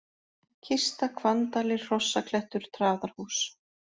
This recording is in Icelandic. Kista, Hvanndalir, Hrossaklettur, Traðarhús